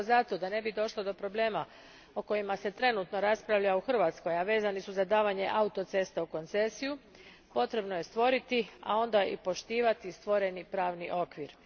Upravo zato da ne bi došlo do problema o kojima se trenutno raspravlja u Hrvatskoj, a vezani su za davanje autocesta u koncesiju, potrebno je stvoriti, a onda i poštivati stvoreni pravni okvir.